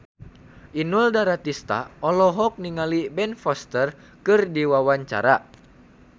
Inul Daratista olohok ningali Ben Foster keur diwawancara